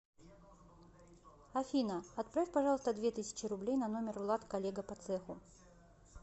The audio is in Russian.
афина отправь пожалуйста две тысячи рублей на номер влад коллега по цеху